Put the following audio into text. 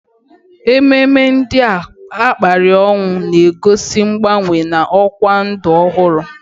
Ememe ndị a kapịrị ọnụ na-egosi mgbanwe na ọkwa ndụ ọhụrụ